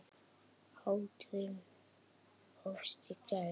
Hátíðin hófst í gær.